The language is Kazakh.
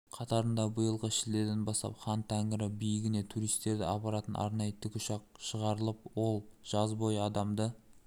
қатарында биылғы шілдеден бастап хан-тәңірі биігіне туристерді апаратын арнайы тікұшақ шығарылып ол жаз бойы адамды